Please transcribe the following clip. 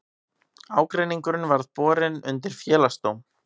Ágreiningurinn verði borin undir félagsdóm